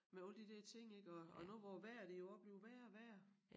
Med alle de der ting ik og og nu hvor vejret det jo også bliver værre og værre